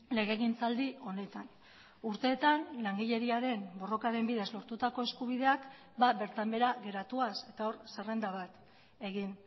legegintzaldi honetan urteetan langileriaren borrokaren bidez lortutako eskubideak bertan behera geratuaz eta hor zerrenda bat egin